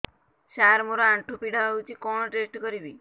ସାର ମୋର ଆଣ୍ଠୁ ପୀଡା ହଉଚି କଣ ଟେଷ୍ଟ କରିବି